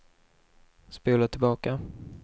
spola tillbaka